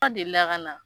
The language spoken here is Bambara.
deli la ka na